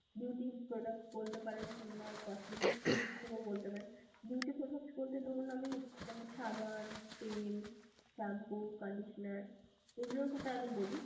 beauty products কিংবা cosmetics এর দিক থেকেও বলতে পারেন, beauty products বলতে ধরুন আমি মানে সাবান, তেল shampoo, conditioner এইগুলোর কথা আগে বলছি.